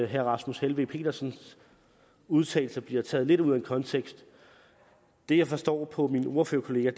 herre rasmus helveg petersen udtalelser bliver taget lidt ud af konteksten det jeg forstår på min ordførerkollega